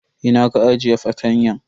Ina ka ajiye fartanyan?